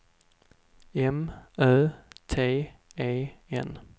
M Ö T E N